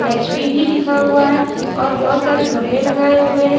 HP भी लिखा हुआ है और बहुत सारे गमले लगाए हुए हैं।